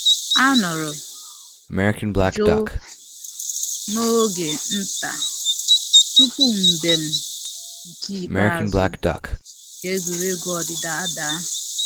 A nọrọ um jụụ um n'oge nta tupu mbem nke ikpeazụ um nke egwuregwu ọdịdị adaa